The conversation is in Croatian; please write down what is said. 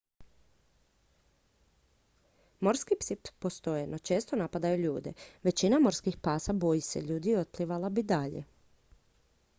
morski psi postoje no često napadaju ljude većina morskih pasa boji se ljudi i otplivala bi dalje